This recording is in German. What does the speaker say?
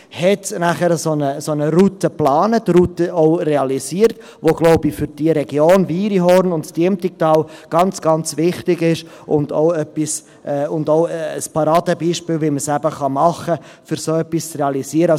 Ich glaube, die Route, die er dann geplant und auch realisiert hat, ist für die Region Wiriehorn und das Diemtigtal sehr, sehr wichtig und auch ein Paradebeispiel dafür, wie man es eben machen kann, um so etwas zu realisieren.